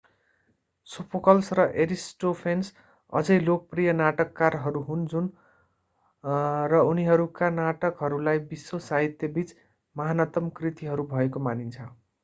Sophocles र Aristophanes अझै लोकप्रिय नाटककारहरू हुन् र उनीहरूका नाटकहरूलाई विश्व साहित्यबीच महानतम कृतिहरू भएको मानिन्छ